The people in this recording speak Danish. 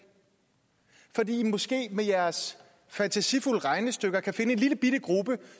fordi i måske med jeres fantasifulde regnestykker kan finde en lillebitte gruppe